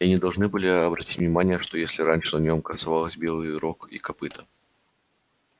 и они должны были обратить внимание что если раньше на нём красовалось белые рог и копыто